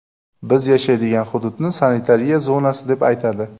Biz yashaydigan hududni sanitariya zonasi deb aytadi.